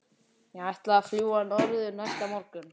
Ég ætlaði að fljúga norður næsta morgun.